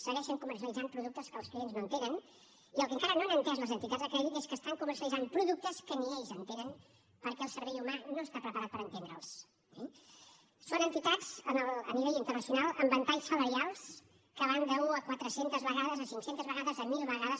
segueixen comercialitzant productes que els clients no entenen i el que encara no han entès les entitats de crèdit és que estan comercialitzant productes que ni ells entenen perquè el cervell humà no està preparat per entendre’ls eh són entitats a nivell internacional amb ventalls salarials que van d’una a quatre centes vegades a cinc centes vegades a mil vegades